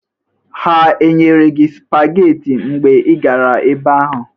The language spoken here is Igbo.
Ha enyere gị sụpageti mgbe ị gara ebe ahụ?